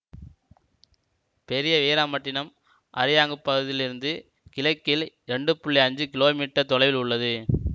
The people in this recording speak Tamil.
பெரிய வீராம்பட்டினம் அரியாங்குப்பதிலிருந்து கிழக்கில் இரண்டு புள்ளி ஐஞ்சு கீழோ மீட்டர் தொலைவில் உள்ளது